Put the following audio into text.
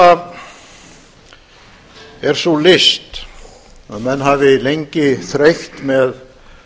er sú list að menn hafi jafn lengi þreytt með